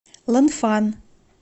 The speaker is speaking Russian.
ланфан